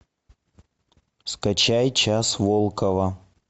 скачай час волкова